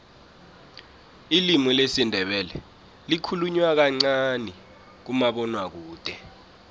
ilimi lesindebele likhulunywa kancani kumabonwakude